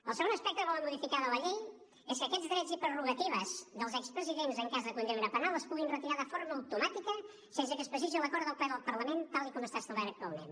el segon aspecte que volen modificar de la llei és que aquests drets i prerrogatives dels expresidents en cas de condemna penal es puguin retirar de forma automàtica sense que es precisi l’acord del ple del parlament tal com està establert actualment